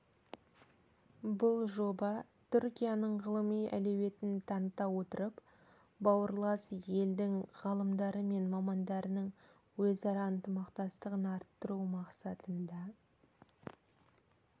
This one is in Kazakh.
бұл жоба түркияның ғылыми әлеуетін таныта отырып бауырлас елдің ғалымдары және мамандарының өзара ынтымақтастығын арттыру мақсатында